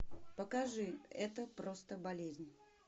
покажи это просто болезнь